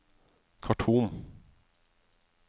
Khartoum